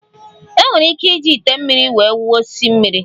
Enwere ike iji ite mmiri wee wụọ osisi mmiri.